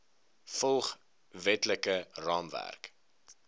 volg wetlike raamwerk